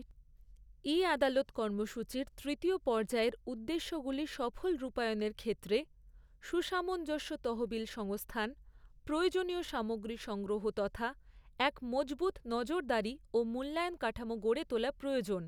ই আাদালত কর্মসূচির তৃতীয় পর্যায়ের উদ্দেশ্যগুলি সফল রূপায়ণের ক্ষেত্রে সুসামঞ্জস্য, তহবিল সংস্থান, প্রয়োজনীয় সামগ্রী সংগ্রহ তথা এক মজবুত নজরদারি ও মূল্যায়ণ কাঠামো গড়ে তোলা প্রয়োজন।